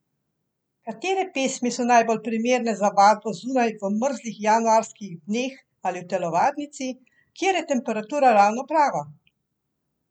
Katere pesmi so najbolj primerne za vadbo zunaj v mrzlih januarskih dneh ali v telovadnici, kjer je temperatura ravno prava?